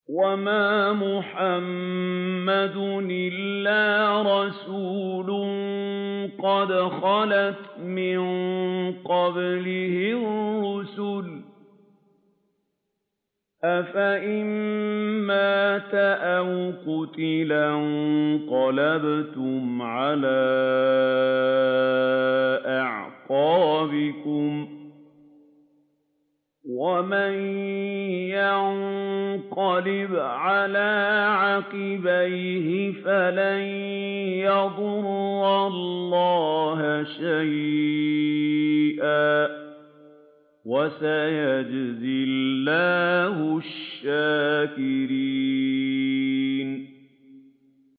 وَمَا مُحَمَّدٌ إِلَّا رَسُولٌ قَدْ خَلَتْ مِن قَبْلِهِ الرُّسُلُ ۚ أَفَإِن مَّاتَ أَوْ قُتِلَ انقَلَبْتُمْ عَلَىٰ أَعْقَابِكُمْ ۚ وَمَن يَنقَلِبْ عَلَىٰ عَقِبَيْهِ فَلَن يَضُرَّ اللَّهَ شَيْئًا ۗ وَسَيَجْزِي اللَّهُ الشَّاكِرِينَ